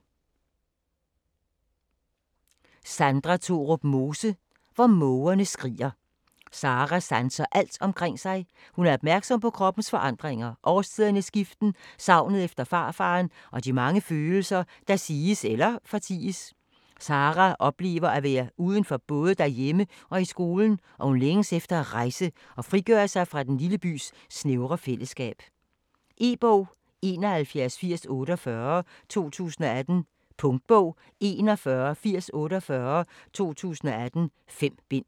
Mose, Sandra Thorup: Hvor mågerne skriger Sarah sanser alt omkring sig. Hun er opmærksom på kroppens forandringer, årstidernes skiften, savnet efter farfaderen og de mange følelser, der siges eller forties. Sarah oplever at være uden for både derhjemme og i skolen og hun længes efter at rejse og frigøre sig fra den lille bys snævre fælleskab. E-bog 718048 2018. Punktbog 418048 2018. 5 bind.